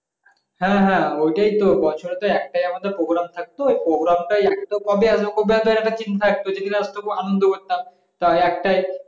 হ্যাঁ হ্যাঁ ওইটাই তো বছরে তো একটা আমাদের program থাকতো এই program টাই তো কবে আসবে কবে আসবে? একটা চিন্তা থাকতো যেদিন আসতো আনন্দ করতাম তা একটাই